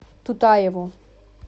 тутаеву